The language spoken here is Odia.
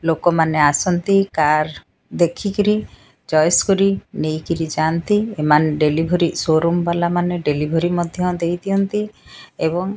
ଲୋକମାନେ ଆସନ୍ତି କାର ଦେଖିକିରି ଚଏସ୍ କରି ନେଇକିରି ଯାଆନ୍ତି ଏମାନେ ଡେଲିଭରି ସୋରୁମ ବାଲା ମାନେ ଡେଲିଭରି ମଧ୍ଯ ଦେଇଦିଅନ୍ତି ଏବଂ --